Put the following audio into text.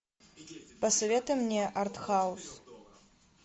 посоветуй мне арт хаус